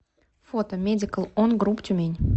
фото медикал он груп тюмень